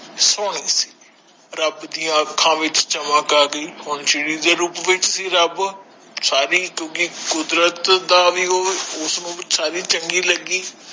ਸਹੋਣੀ ਸੀ ਰਬ ਦੀਆ ਅੰਖਾਂ ਵਿਚ ਚਮਕ ਆਗਯੀ ਹੁਣ ਚਿੜੀ ਦੇ ਰੂਪ ਵਿਚ ਸੀ ਰਬ ਸਾਰੀ ਕਿਉਕਿ ਕੁਦਰਤ ਦਾ ਭੀ ਓ ਉਸ ਸਾਰੀ ਚੰਗੀ ਲਗੀ